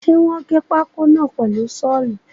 Ṣe wọ́n gé pákó náà pẹ̀lu sọ́ọ̀lù?